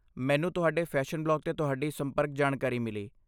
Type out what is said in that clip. ਮੈਨੂੰ ਤੁਹਾਡੇ fashion blog 'ਤੇ ਤੁਹਾਡੀ ਸੰਪਰਕ ਜਾਣਕਾਰੀ ਮਿਲੀ।